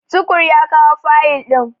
Tukur ya kawo fayil ɗin.